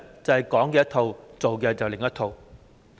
就是"講一套，做一套"。